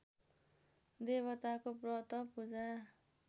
देवताको व्रत पूजा